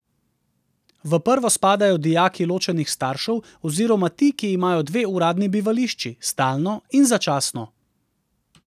V prvo spadajo dijaki ločenih staršev oziroma ti, ki imajo dve uradni bivališči, stalno in začasno.